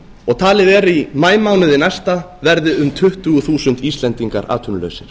og talið er að í maímánuði næsta verði um tuttugu þúsund íslendingar atvinnulausir